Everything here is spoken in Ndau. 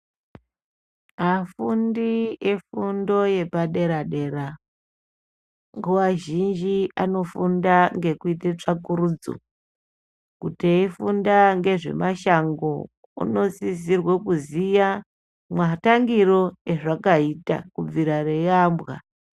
Afundi efundo yepadera-dera, nguva zhinji anofunda ngekuite tsvakurudzo. Kuti eifunda ngezvemashango unosizirwe kuziya mwatangiro azvakaita kubvira rei ambwa.